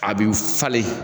A bi falen